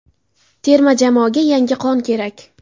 Terma jamoaga yangi qon kerak.